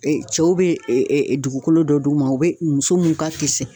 E cɛw be ee ɛɛ dugukolo dɔ d'u ma u be muso mun ka kisɛ